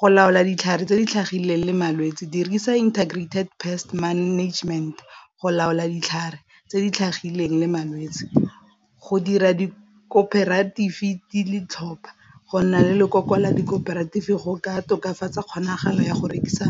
go laola ditlhare tse di tlhagileng le malwetse dirisa integrated pest management go laola ditlhare tse di tlhagileng le malwetse, go dira go nna le lekoko la go ka tokafatsa kgonagalo ya go rekisa.